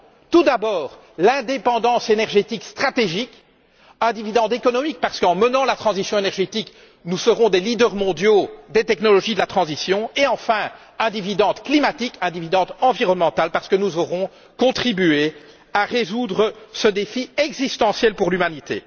Tout d'abord, l'indépendance énergétique stratégique, qui est un dividende économique parce qu'en menant la transition énergétique, nous serons des leaders mondiaux des technologies de la transition, et enfin un dividende climatique et un dividende environnemental parce que nous aurons contribué à résoudre ce défi existentiel pour l'humanité.